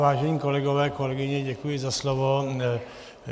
Vážení kolegové, kolegyně, děkuji za slovo.